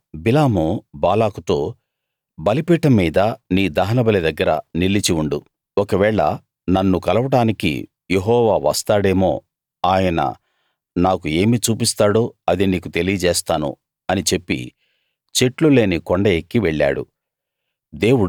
ఇంకా బిలాము బాలాకుతో బలిపీఠం మీద నీ దహనబలి దగ్గర నిలిచి ఉండు ఒకవేళ నన్ను కలవడానికి యెహోవా వస్తాడేమో ఆయన నాకు ఏమి చూపిస్తాడో అది నీకు తెలియజేస్తాను అని చెప్పి చెట్లు లేని కొండ ఎక్కి వెళ్ళాడు